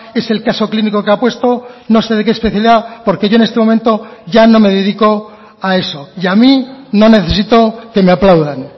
es el caso clínico que ha puesto no sé de qué especialidad porque yo en este momento ya no me dedico a eso y a mí no necesito que me aplaudan